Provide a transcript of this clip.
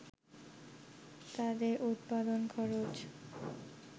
তাদের উৎপাদন খরচ